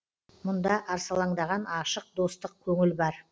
мұнда арсалаңдаған ашық достық көңіл бар